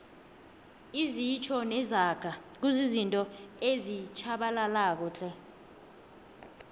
izitjho nezaga kuzizinto ezitjhabalalako tle